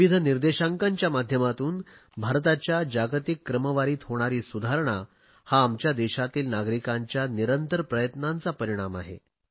विविध निर्देशांकांच्या माध्यमातून भारताच्या जागतिक क्रमवारीत होणारी सुधारणा हा आमच्या देशातील नागरिकांच्या निरंतर प्रयत्नांचा परिणाम आहे